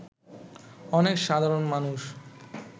অনেক সাধারণ মানুষ